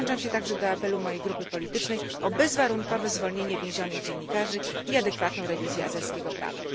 Przyłączam się także do apelu mojej grupy politycznej o bezwarunkowe zwolnienie więzionych dziennikarzy i adekwatną rewizję azerskiego prawa.